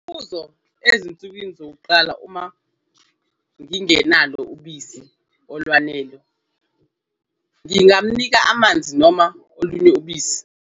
Umbuzo- Ezinsukwini zokuqala, uma ngingenalo ubisi olwanele, ngingamnika amanzi noma olunye ubisi?